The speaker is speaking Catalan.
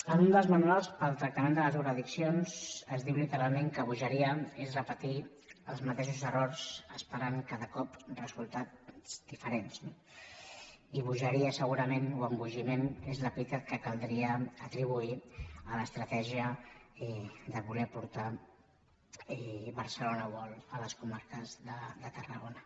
en un dels manuals per al tractament de les drogoaddiccions es diu literalment que bogeria és repetir els mateixos errors esperant cada cop resultats diferents no i bogeria segurament o embogiment és l’epítet que caldria atribuir a l’estratègia de voler portar barcelona world a les comarques de tarragona